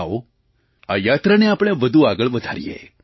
આવો આ યાત્રાને આપણે વધુ આગળ વધારીએ